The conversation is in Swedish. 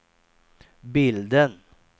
bilden